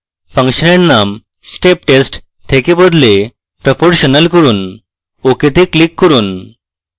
ফাংশনের name step test থেকে বদলে proportional করুন ok তে click করুন